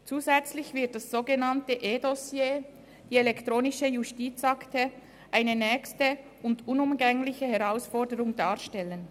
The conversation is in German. Zusätzlich wird das sogenannte eDossier, die elektronische Justizakte, eine nächste und unumgängliche Herausforderung darstellen.